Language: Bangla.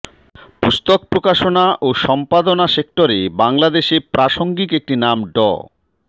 পুস্তক প্রকাশনা ও সম্পাদনা সেক্টরে বাংলাদেশে প্রাসঙ্গিক একটি নাম ড